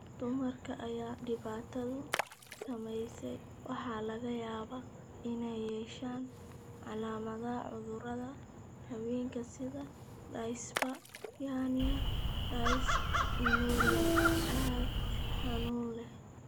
Dumarka ay dhibaatadu saameysey waxaa laga yaabaa inay yeeshaan calaamadaha cudurada haweenka sida dyspareunia iyo dysmenorrhea (cado xanuun leh).